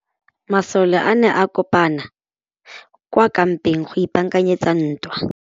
Masole a ne a kopane kwa kampeng go ipaakanyetsa ntwa.